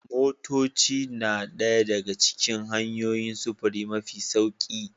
Motoci na ɗaya daga cikin hanyoyin sufuri mafi sauri